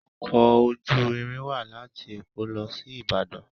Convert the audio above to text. Ọkọ̀ ojú-irin wá láti Eko losi ìbàdàn.